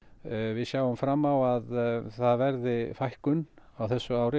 við sjáum fram á að það verði fækkun á þessu ári